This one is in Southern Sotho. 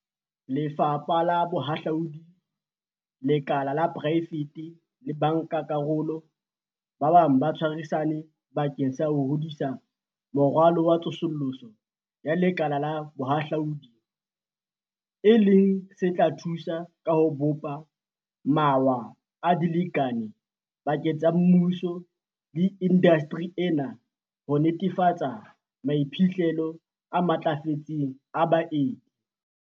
Lefapha la Bohahlaudi, lekala la poraefete le bankakarolo ba bang ba tshwarisane bakeng sa ho hodisa Moralo wa Tsosoloso ya Lekala la Bohahlaudi, e leng se tla thusa ka ho bopa mawa a dilekane pakeng tsa mmuso le indasteri ena ho netefatsa maiphihlelo a matlafetseng a baeti.